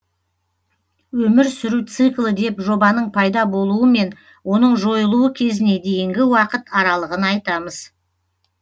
өмір сүру циклі деп жобаның пайда болуы мен оның жойылуы кезіне дейінгі уақыт аралығын айтамыз